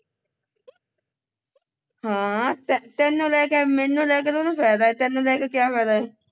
ਹਾਂ ਤੇ ਤੇਨੂੰ ਲੈ ਕੇ ਹੈ ਮੈਨੂੰ ਲੈ ਕੇ ਤੇ ਉਹਨੂੰ ਫਾਇਦਾ ਹੈ ਤੇਨੂੰ ਲੈ ਕੇ ਕਿਆ ਫਾਇਦਾ ਹੈ